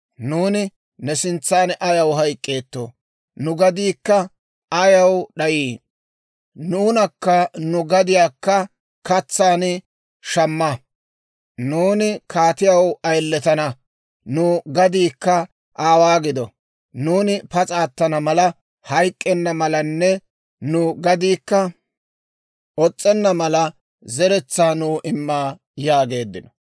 Nuuni ne sintsan ayaw hayk'k'eettoo? Nu gadiikka ayaw d'ayii? Nuunakka nu gadiyaakka katsaan shamma; nuuni kaatiyaw ayiletana; nu gadiikka aawaa gido; nuuni pas'a attana mala, hayk'k'enna malanne nu gadiikka os's'enna mala, zeretsaa nuw imma» yaageeddino.